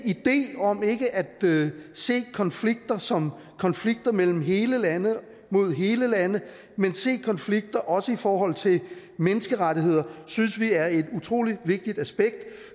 om ikke at se konflikter som konflikter mellem hele lande mod hele lande men at se konflikter også i forhold til menneskerettigheder synes vi er et utrolig vigtigt aspekt